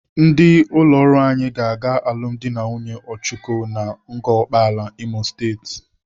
Ndị ụlọ ọrụ anyị ga-aga alụmdi na nwunye Ọchụko na Ngor Okpala, Imo State.